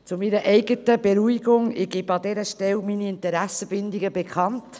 – Zu meiner eigenen Beruhigung gebe ich an dieser Stelle meine Interessenbindungen bekannt: